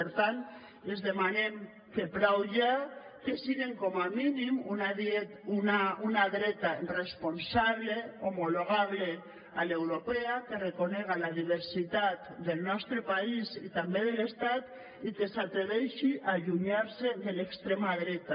per tant els demanem que prou ja que sigan com a mínim una dreta responsable homologable a l’europea que reconega la diversitat del nostre país i també de l’estat i que s’atreveixi a allunyar se de l’extrema dreta